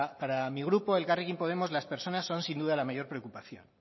para mi grupo elkarrekin podemos las personas son sin duda la mayor preocupación